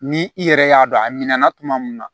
Ni i yɛrɛ y'a dɔn a minɛna tuma min na